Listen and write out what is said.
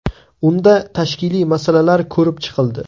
Unda tashkiliy masalalar ko‘rib chiqildi.